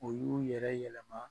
U y'u yɛrɛ yɛlɛma